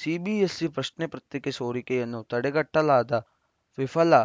CBSE ಪ್ರಶ್ನೆ ಪತ್ರಿಕೆ ಸೋರಿಕೆಯನ್ನು ತಡೆಗಟ್ಟಲಾಗದ ವಿಫಲ